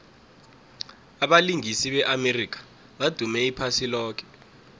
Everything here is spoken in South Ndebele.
abalingisi be amerika badume iphasi loke